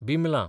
बिमलां